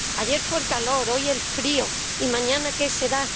Ayer fue el calor, hoy el frío y mañana, ¿qué será?